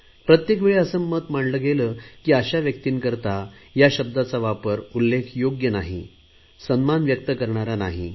प्रत्येकवेळी असे मत मांडले गेले की अशा व्यक्तींकरता या शब्दाचा वापर उल्लेख योग्य नाही सन्मान व्यक्त करणारा नाही